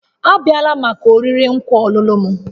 Abịala maka oriri nkwa ọlụlụ m